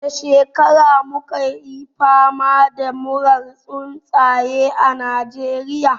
A wace shekara mu $ka yi fama da murar tsuntsaye a Najeriya?